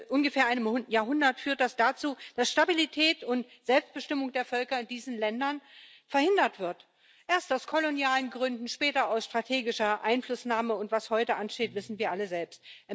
ungefähr einem Jahrhundert, führt das dazu, dass Stabilität und Selbstbestimmung der Völker in diesen Ländern verhindert werden erst aus kolonialen Gründen, später aus strategischer Einflussnahme, und was heute ansteht, wissen wir alle selbst.